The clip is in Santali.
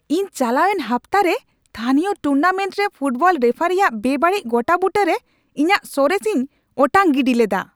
ᱤᱧ ᱪᱟᱞᱟᱣᱮᱱ ᱦᱟᱯᱛᱟ ᱨᱮ ᱛᱷᱟᱹᱱᱤᱭᱚ ᱴᱩᱨᱱᱟᱢᱮᱱᱴ ᱨᱮ ᱯᱷᱩᱴᱵᱚᱞ ᱨᱮᱯᱷᱟᱨᱤ ᱟᱜ ᱵᱮᱼᱵᱟᱹᱲᱤᱡ ᱜᱚᱴᱟᱵᱩᱴᱟᱹᱭ ᱨᱮ ᱤᱧᱟᱹᱜ ᱥᱚᱨᱮᱥ ᱤᱧ ᱚᱴᱟᱝ ᱜᱤᱰᱤ ᱞᱮᱫᱟ ᱾